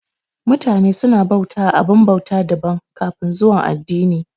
Mutane su na bauta wa abin bauta daban daban kafin zuwan addini